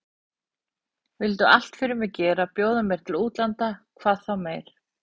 Vildu allt fyrir mig gera, bjóða mér til útlanda hvað þá meir.